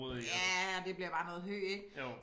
Ja det bliver bare noget hø ik